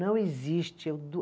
Não existe, eu